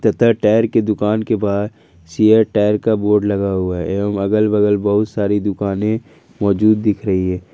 Tyre की दुकान के बाहर सीएट टायर का बोर्ड लगा हुआ है एवंम अगल बगल बहुत सारी दुकाने मौजूद दिख रही है।